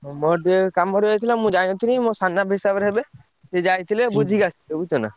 ଆଉ ମୋର ଟିକେ କାମ ରହିଯାଇଥିଲା ମୁଁ ଯାଇନଥିଲି ମୋ ସାନାପା ହିସାବରେ ହେବେ ସିଏ ଯାଇଥିଲେ ବୁଝିକି ଆସିଥିଲେ ବୁଝୁଛନା।